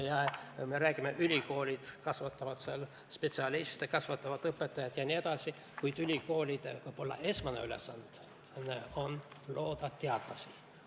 Ja me räägime, et ülikoolid kasvatavad spetsialiste, kasvatavad õpetajaid jne, kuid ehk on ülikoolide esmane ülesanne luua teadlasi.